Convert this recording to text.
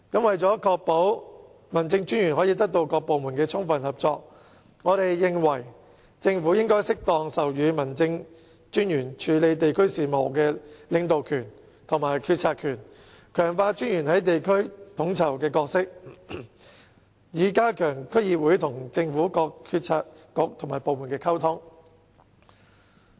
為確保民政專員可得到各部門的充分合作，我們認為政府應適當授予民政專員處理地區事務的領導權和決策權，強化專員的地區統籌角色，以加強區議會與政府各政策局和部門的溝通。